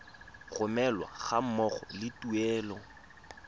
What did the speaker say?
romelwa ga mmogo le tuelo